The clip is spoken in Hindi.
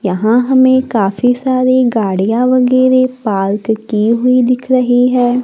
यहां हमें काफी सारी गाड़ियां वगैरे पार्क की हुई दिख रही है।